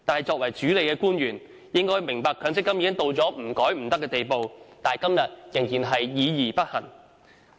作為主理的官員，理應明白強積金制度改革刻不容緩，但他們時至今日仍然議而不行。